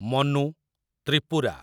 Manu, Tripura